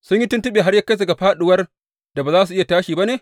Sun yi tuntuɓe har ya kai ga fāɗuwar da ba za su iya tashi ba ne?